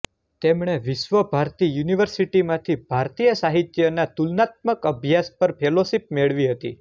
તેમણે વિશ્વ ભારતી યુનિવર્સિટીમાંથી ભારતીય સાહિત્યના તુલનાત્મક અભ્યાસ પર ફેલોશીપ મેળવી હતી